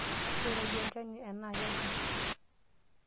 Ketoyio olchaani enaa kejon?